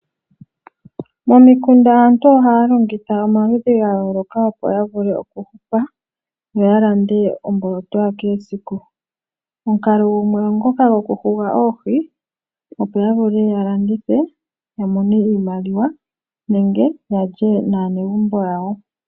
Momikunda aantu ohaa longitha omaludhi ga yooloka opo ya vule okuhupa, yo ya lande omboloto yakehe esiku. Omukalo gumwe ogo ngoka gokuhuga oohi, opo ya vule ya landithe ya mone iimaliwa nenge ya lye naanegumbo yawo.